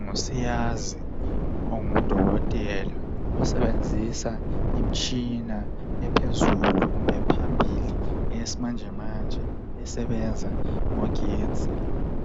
Ngusiyazi ongudokotela osebenzisa imitshina ephezulu kumbe ephambili eyesimanjemanje esebenza ngogetsi